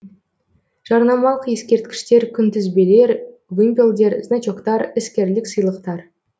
жарнамалық ескерткіштер күнтізбелер вымпелдер значоктар іскерлік сыйлықтар